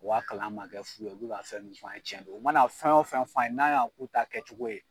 U ka kalan ma kɛ fu ye u bi ka fɛn min fɔ ye cɛn don u mana fɛn o fɛn fɔ an ye n'an y'a k'u ta kɛ cogo ye